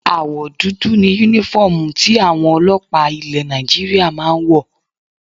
Àwọ̀ dúdú ni Únífọ́ọ̀mù tí àwọn ọlọ́pàá ilẹ̀ Nigeria máa ń wọ̀